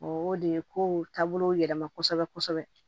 O de ye kow taabolo yɛlɛma kosɛbɛ kosɛbɛ